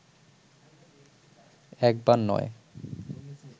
একবার নয়